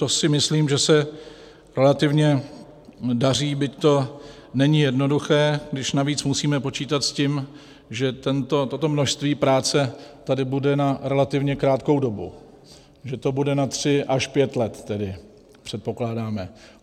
To si myslím, že se relativně daří, byť to není jednoduché, když navíc musíme počítat s tím, že toto množství práce tady bude na relativně krátkou dobu, že to bude na tři až pět let tedy, předpokládáme.